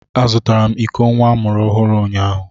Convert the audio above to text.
Azụtara m iko nwa amụrụ ọhụrụ unyaahụ.